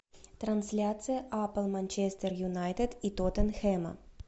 трансляция апл манчестер юнайтед и тоттенхэма